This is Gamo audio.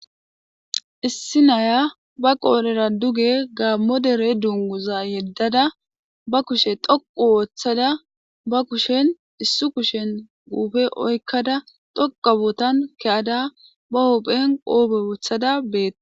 issi naya ba qoolera duge gaammodere dunguza yeddada ba kushe xoqu wooththada ba kushen issu kushen guufe oykkada dhoqabotan keyada ba hopphen qoobe woothada bee